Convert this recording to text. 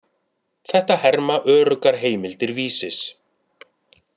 Þetta herma öruggar heimildir Vísis.